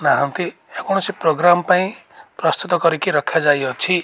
ନାହାନ୍ତି କୌଣସି ପ୍ରୋଗ୍ରାମ୍ ପାଇଁ ପ୍ରସ୍ତୁତ କରିକି ରଖାଯାଇଅଛି।